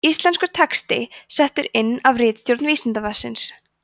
íslenskur texti settur inn af ritstjórn vísindavefsins